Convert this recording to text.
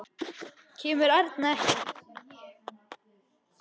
Kemur Erna ekki!